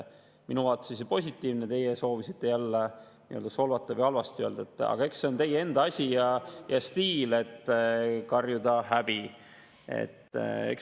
Minu vaates oli see positiivne, teie soovisite jälle solvata või halvasti öelda, aga see on teie enda asi ja stiil, et karjute: "Häbi!